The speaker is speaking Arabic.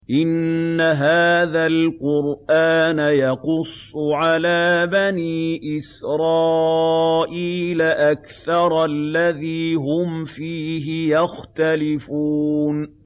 إِنَّ هَٰذَا الْقُرْآنَ يَقُصُّ عَلَىٰ بَنِي إِسْرَائِيلَ أَكْثَرَ الَّذِي هُمْ فِيهِ يَخْتَلِفُونَ